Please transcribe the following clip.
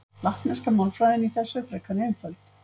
Latneska málfræðin í þessu er frekar einföld.